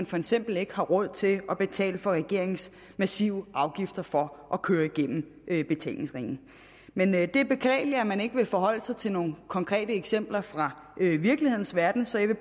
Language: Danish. for eksempel ikke har råd til at betale for regeringens massive afgifter for at køre igennem betalingsringen men men det er beklageligt at man ikke vil forholde sig til nogen konkrete eksempler fra virkelighedens verden så jeg vil